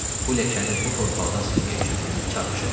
Bu ləkəni bu torpaqdan silmək üçün çarpışacam.